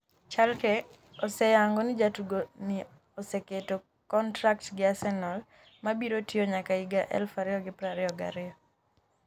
Schalke oseyango ni jatugo ni oseketo kontrak gi Arsenal mabiro tiyo nyaka higa 2022.